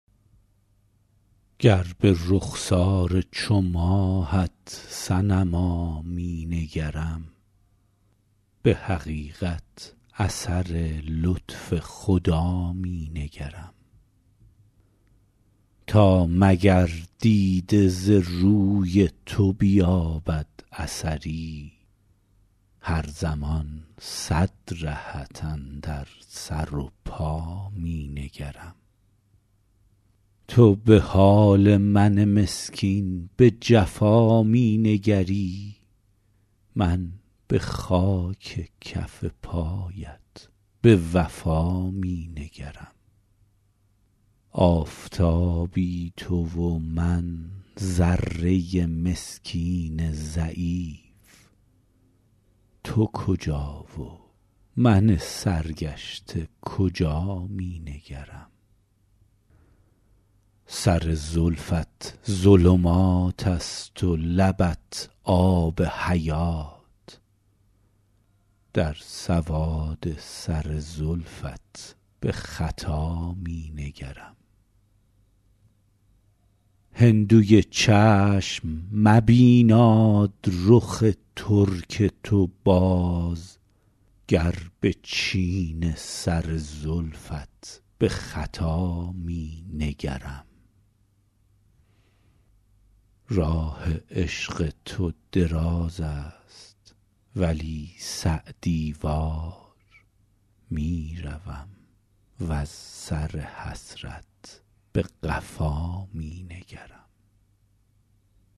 گر به رخسار چو ماهت صنما می نگرم به حقیقت اثر لطف خدا می نگرم تا مگر دیده ز روی تو بیابد اثری هر زمان صد رهت اندر سر و پا می نگرم تو به حال من مسکین به جفا می نگری من به خاک کف پایت به وفا می نگرم آفتابی تو و من ذره مسکین ضعیف تو کجا و من سرگشته کجا می نگرم سر زلفت ظلمات است و لبت آب حیات در سواد سر زلفت به خطا می نگرم هندوی چشم مبیناد رخ ترک تو باز گر به چین سر زلفت به خطا می نگرم راه عشق تو دراز است ولی سعدی وار می روم وز سر حسرت به قفا می نگرم